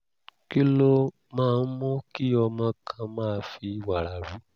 kí ló máa ń mú kí ọmọ kan máa fi wàrà rú?